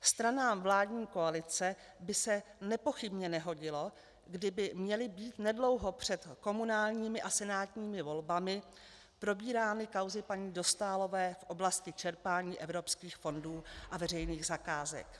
Stranám vládní koalice by se nepochybně nehodilo, kdyby měly být nedlouho před komunálními a senátními volbami probírány kauzy paní Dostálové v oblasti čerpání evropských fondů a veřejných zakázek.